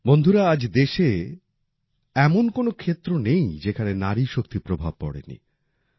বন্ধুরা আজ দেশে এমন কোন ক্ষেত্র নেই যেখানে নারী শক্তির প্রভাব পড়েনি